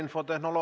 Ma tänan!